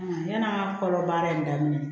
Yann'a ka kɔrɔ baara in daminɛ